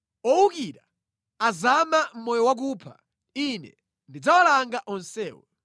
Owukira azama mʼmoyo wakupha, Ine ndidzawalanga onsewo.